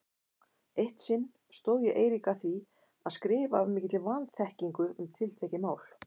Eitt sinn stóð ég Eirík að því að skrifa af mikilli vanþekkingu um tiltekið mál.